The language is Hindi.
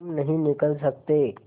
तुम नहीं निकल सकते